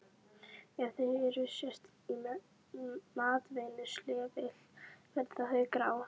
Ef þau eru sett í matvinnsluvél verða þau grá.